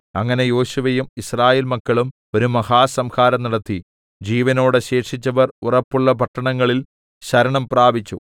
അങ്ങനെ യോശുവയും യിസ്രായേൽമക്കളും ഒരു മഹാസംഹാരം നടത്തി ജീവനോടെ ശേഷിച്ചവർ ഉറപ്പുള്ള പട്ടണങ്ങളിൽ ശരണം പ്രാപിച്ചു